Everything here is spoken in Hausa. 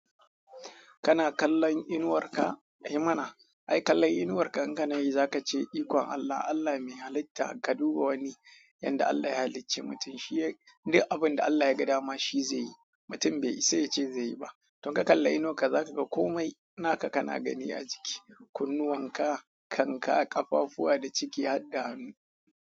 Kana kallon inuwar ka, yi mana, ai kallon inuwar ka inka nayi za ka ce ikon Allah, Allah mai halitta ka duba wani yanda Allah ya halicce mutum, shi duk abinda Allah ya ga dama shi zai yi, mutum bai isa yace zai yi ba. Tun ka kalla inuwar ka za ka ga kome na ka kana gani a jiki, kunnuwan ka, kan ka, ƙafafuwa da ciki har da hannu.